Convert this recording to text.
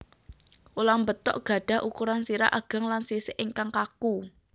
Ulam betok gadhah ukuran sirah ageng lan sisik ingkang kaku